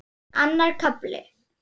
Annar kafli